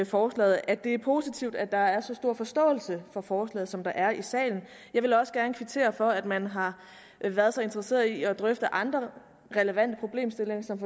forslaget at det er positivt at der er så stor forståelse for forslaget som der er i salen jeg vil også gerne kvittere for at man har været så interesseret i at drøfte andre relevante problemstillinger som